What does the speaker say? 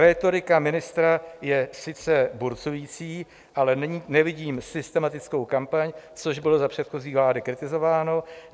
Rétorika ministra je sice burcující, ale nevidím systematickou kampaň, což bylo za předchozí vlády kritizováno.